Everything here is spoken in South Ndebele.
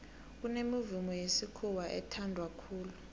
kunemivumo yesikhuwa ethanwa khulu